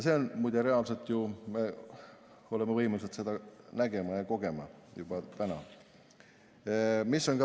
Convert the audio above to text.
See on muide reaalne ju, me oleme võimelised seda nägema ja kogema juba täna.